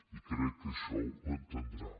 i crec que això ho entendrà